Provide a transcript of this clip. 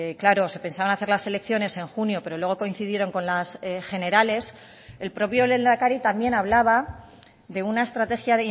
claro se pensaban hacer las elecciones en junio pero luego coincidieron con las generales el propio lehendakari también hablaba de una estrategia